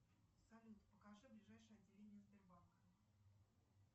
салют покажи ближайшее отделение сбербанка